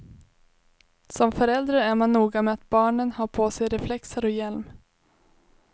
Som förälder är man noga med att barnen har på sig reflexer och hjälm.